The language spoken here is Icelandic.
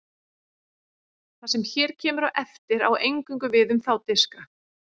Það sem hér kemur á eftir á eingöngu við um þá diska.